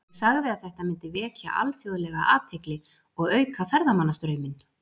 Ég sagði að þetta myndi vekja alþjóðlega athygli og auka ferðamannastrauminn.